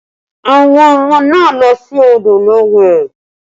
Àwọn ọmọ náà lọ sí odò lọ wẹ̀